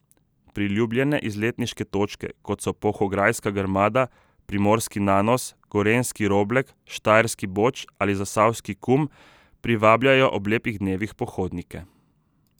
Priljubljene izletniške točke, kot so Polhograjska Grmada, primorski Nanos, gorenjski Roblek, štajerski Boč ali zasavski Kum, privabljajo ob lepih dnevih pohodnike.